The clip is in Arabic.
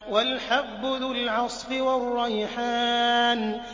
وَالْحَبُّ ذُو الْعَصْفِ وَالرَّيْحَانُ